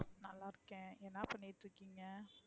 நல்லா இருக்கேன் என்ன பண்ணிட்டு இருக்கீங்க?